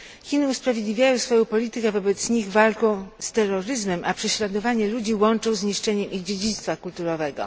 Chiny usprawiedliwiają swoją politykę wobec nich walką z terroryzmem, a prześladowanie ludzi łączą z niszczeniem ich dziedzictwa kulturowego.